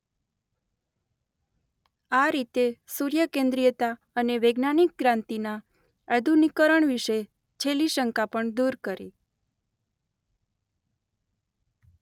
આ રીતે સૂર્ય કેન્દ્રીયતા અને વૈજ્ઞાનિક ક્રાંતિના આધુનિકરણ વિશે છેલ્લી શંકા પણ દૂર કરી.